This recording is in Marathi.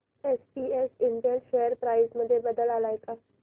एसपीएस इंटेल शेअर प्राइस मध्ये बदल आलाय का